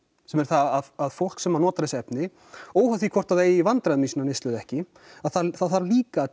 sem er það að fólk sem notar þessi efni óháð því hvort þau eigi í vandræðum með sína neyslu eða ekki það þarf líka að